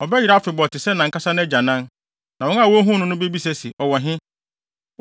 ɔbɛyera afebɔɔ te sɛ nʼankasa nʼagyanan; na wɔn a wohuu no no bebisa se, ‘Ɔwɔ he?’